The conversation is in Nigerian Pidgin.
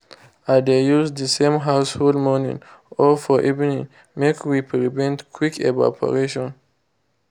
i dey use dey same household morining or for evening make we prevent quick evarporation